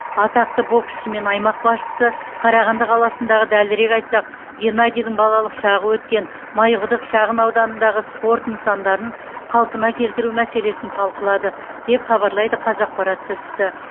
атақты боксшы мен аймақ басшысы қарағанды қаласындағы дәлірек айтсақ геннадийдің балалық шағы өткен майқұдық шағын ауданындағы спорт нысандарын қалпына келтіру мәселесін талқылады деп хабарлайды қазақпарат тілшісі